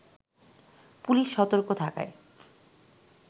police সর্তক থাকায়